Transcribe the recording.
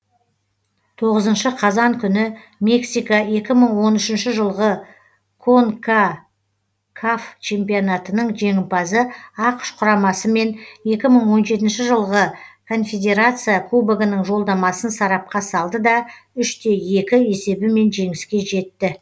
тоғызыншы қазан күні мексика екі мың он үшінші жылғы конкакаф чемпионатының жеңімпазы ақш құрамасымен екі мың он жетінші жылғы конфедерация кубогының жолдамасын сарапқа салды да үш те екі есебімен жеңіске жетті